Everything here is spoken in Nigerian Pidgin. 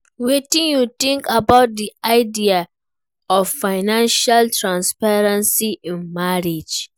Wetin you think about di idea of financial transparency in marriage?